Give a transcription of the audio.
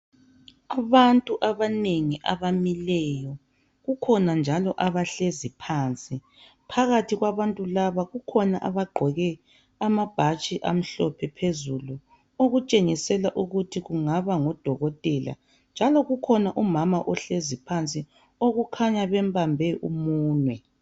Abantu abanengi abamileyo kukhona njalo abahlezi phansi phakathi kwabantu laba kukhona abagqoke amabhatshi amhlophe phezulu okutshengisela ukuthi kungaba ngodokotela njalo kukhona umama ohlezi phansi okukhanya bembambe umunwe.